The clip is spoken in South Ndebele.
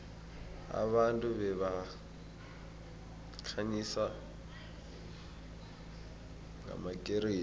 abantu babekhanyisa ngamakeresi